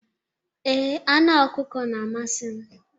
Ee, anụ ọkụkọ na-amasị m.